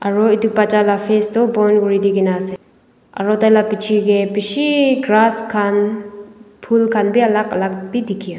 aro edu bacha la face toh bon kuridikaena ase aru tai la pichae tae bishi grass khan phul khan bi alak alak bi dikhi.